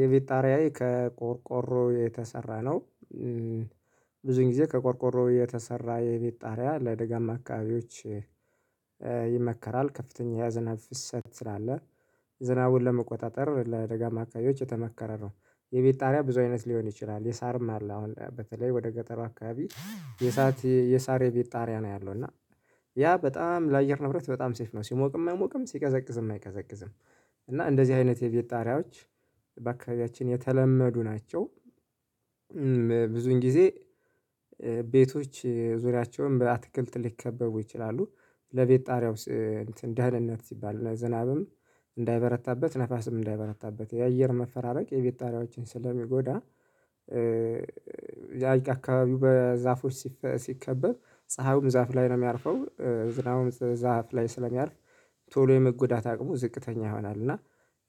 የቤት ጣሪያዬ ከቆርቆሮ የተሰራ ነው። ብዙን ጊዜ ከቆርቆሮ የተሰራ የቤት ጣሪያ ለደጋማ አካባቢዎች። ይመከራል ከፍተኛ የዝናብ ፍሰት ስላለ ዝናቡን ለመቆጣጠር ለደጋማ አካባቢዎች የተመከረ ነው። የቤት ጣሪያ ብዙ አይነት ሊሆን ይችላል። የሳርም አለ አሁን በተለይ ወደ ገጠር አካባቢ። የሳር የሳር የቤት ጣሪያ ነው ያለው እና ያ በጣም ለአየር ንብረት በጣም ሴፍ ነው ሲሞቅም አይሞቅም ሲቀዘቅዝም አይቀዘቅዝም። እና እንደዚህ አይነት የቤት ጣሪያዎች በአካባቢያችን የተለመዱ ናቸው። ብዙውን ጊዜ ቤቶች ዙሪያቸውን በአትክልት ሊከበቡ ይችላሉ። ለቤት ጣሪያው እንትን ደህንነት ሲባል ለዝናብም እንዳይበረታበት ነፋስም እንዳይበረታበት የአየር መፈራረቅ የቤት ጣሪያዎችን ስለሚጎዳ አካባቢው በዛፎች ሲከበብ ፀሀዩም ዛፍ ላይ ነው የሚያርፈው ዝናቡም ዛፍ ላይ ስለሚያርፍ ቶሎ የመጎዳት አቅሙ ዝቅተኛ ይሆናል። እና